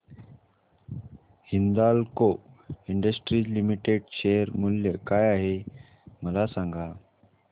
Hindalco industries limited share मूल्य काय आहे मला सांगा